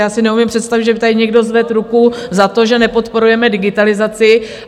Já si neumím představit, že by tady někdo zvedl ruku za to, že nepodporujeme digitalizaci.